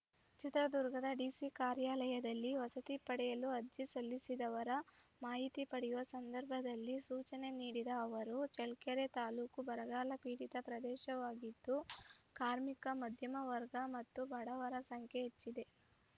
ಚಿತ್ರದುರ್ಗದ ಡಿಸಿ ಕಾರ್ಯಾಲಯದಲ್ಲಿ ವಸತಿ ಪಡೆಯಲು ಅರ್ಜಿಸಲ್ಲಿಸಿದವರ ಮಾಹಿತಿ ಪಡೆಯುವ ಸಂದರ್ಭದಲ್ಲಿ ಸೂಚನೆ ನೀಡಿದ ಅವರು ಚಳ್ಳಕೆರೆ ತಾಲೂಕು ಬರಗಾಲಪೀಡಿತ ಪ್ರದೇಶವಾಗಿದ್ದು ಕಾರ್ಮಿಕ ಮದ್ಯಮ ವರ್ಗ ಮತ್ತು ಬಡವರ ಸಂಖ್ಯೆ ಹೆಚ್ಚಿದೆ